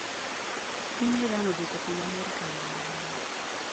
Piny Iran odwoko piny Amerika e yo mane?